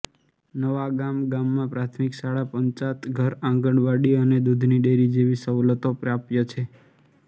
નવાગામ ગામમાં પ્રાથમિક શાળા પંચાયતઘર આંગણવાડી અને દૂધની ડેરી જેવી સવલતો પ્રાપ્ય છે